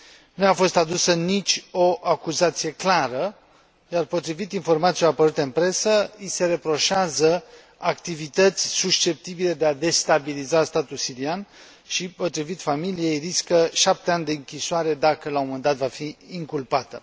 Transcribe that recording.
Nu i a fost adusă nicio acuzație clară, iar potrivit informațiilor apărute în presă i se reproșează activități susceptibile de a destabiliza statul sirian și, potrivit familiei, riscă șapte ani de închisoare, dacă la un moment dat va fi inculpată.